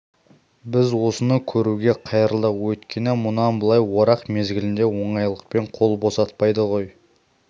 біз осыны көруге қайырылдық өйткені мұнан былай орақ мезгілінде оңайлықпен қол босатпайды ғой